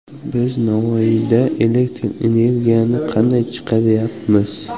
Biz Navoiyda elektr energiyani qanday chiqaryapmiz?